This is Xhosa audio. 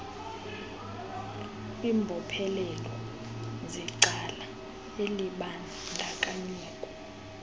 kwimbophelelo zecala elibandakanyekayo